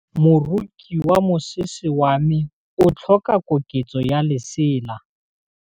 Moroki wa mosese wa me o tlhoka koketsô ya lesela.